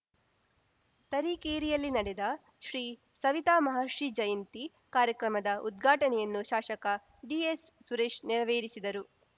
ತರೀರೇಕೆರೆಯಲ್ಲಿ ನಡೆದ ಶ್ರಿ ಸವಿತಾ ಮಹರ್ಷಿ ಜಯಂತಿ ಕಾರ್ಯಕ್ರಮದ ಉದ್ಘಾಟನೆಯನ್ನು ಶಾಸಕ ಡಿಎಸ್‌ ಸುರೇಶ್‌ ನೆರವೇರಿಸಿದರು